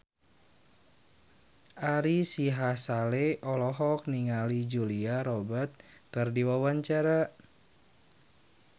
Ari Sihasale olohok ningali Julia Robert keur diwawancara